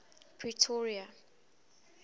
pretoria